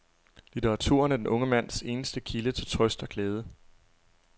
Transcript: Litteraturen er den unge mands eneste kilde til trøst og glæde.